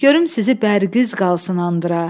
Görüm sizi bərqız qalsın andıra.